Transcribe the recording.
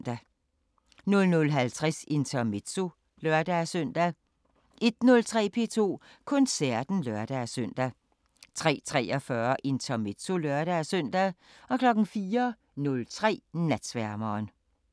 00:50: Intermezzo (lør-søn) 01:03: P2 Koncerten (lør-søn) 03:43: Intermezzo (lør-søn) 04:03: Natsværmeren